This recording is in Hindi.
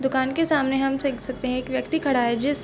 दुकान के सामने हम देख सकते है की एक व्यक्ति खड़ा है जिस--